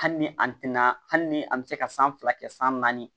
Hali ni an tɛna hali ni an bɛ se ka san fila kɛ san naani